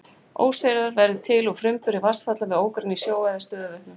Óseyrar verða til úr framburði vatnsfalla við ármynni í sjó eða stöðuvötnum.